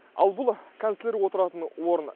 ал бұл канцлер отыратын орын